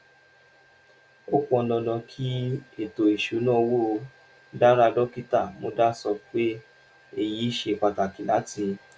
ó pọn dandan kí ètò ìṣúnná owó dára: dókítà muda sọ pé èyí ṣe pàtàkì láti